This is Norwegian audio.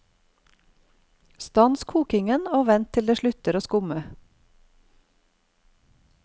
Stans koking, og vent til det slutter å skumme.